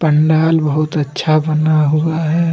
पंडाल बहुत अच्छा बना हुआ है।